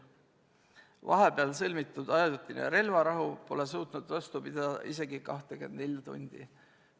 Vahepeal sõlmitud ajutine relvarahu pole suutnud vastu pidada isegi 24 tundi.